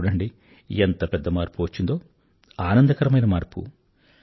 చూడండి ఎంత పెద్ద మార్పు వచ్చిందో ఆనందకరమైన మార్పు